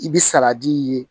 I bɛ saladi ye